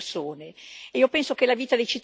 Non si gioca con la vita delle persone.